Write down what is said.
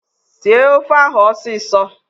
Sie ofe ahụ ọsịsọ!